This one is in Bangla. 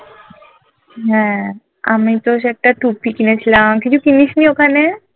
হ্যাঁ আমি তো সে একটা টুপি কিনেছিলাম তুই কিছু কিনিস নি ওখানে?